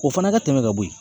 O fana ka tɛmɛ ka bɔ yen.